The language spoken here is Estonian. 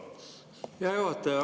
Hea juhataja!